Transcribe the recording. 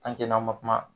n'an ma kuma